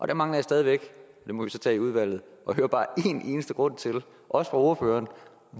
der mangler jeg stadig væk og det må vi så tage i udvalget at høre bare en eneste grund til også fra ordføreren